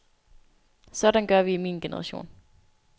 Sådan gør vi i min generation.